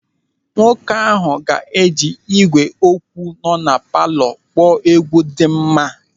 Nwoke ahụ ga-eji ị́gwè okwu nọ na palọ kpọọ egwu dị mma.